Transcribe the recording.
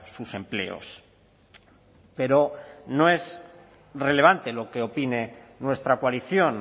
sus empleos pero no es relevante lo que opine nuestra coalición